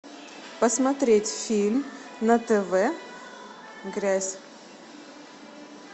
посмотреть фильм на тв грязь